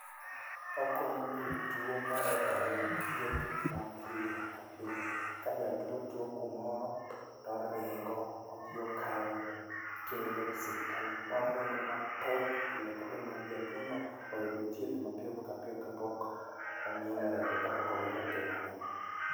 Okonyo jotuo mondo oyud thieth mapiyo ka piyo. Ka jatuo tuo kumoro, toringo odhi okawe tokele e osiptal, moringo matek pile ka mondo jatuono thieth mapiyo ka piyo ong'ielo orengo kapok owito ngimane.